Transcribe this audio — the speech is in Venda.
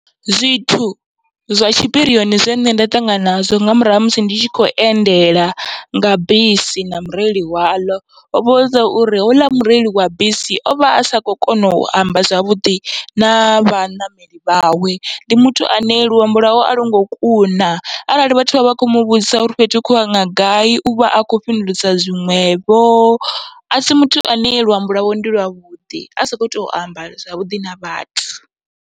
Zwithu zwa tshipirioni zwine nṋe nda ṱangana nazwo nga murahu ha musi ndi tshi kho endela nga bisi na mureili waḽo, hovha zwauri houḽa mureili wa bisi ovha asa kho kona u amba zwavhuḓi na vhaṋameli vhawe. Ndi muthu ane luambo lwawe a lwongo kuna, arali vhathu vha vha kho muvhudzisa uri fhethu hu khou yiwa nga gai uvha a kho fhindulisa zwiṅwevho asi muthu ane luambo lwawe ndi lwavhuḓi asa kho to amba zwavhuḓi na vhathu.